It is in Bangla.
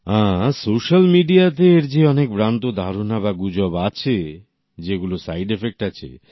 হ্যাঁ সোশ্যাল মিডিয়াতে এর যে অনেক ভ্রান্ত ধারণা বা গুজব আছে যে এগুলোর সাইড ইফেক্ট আছে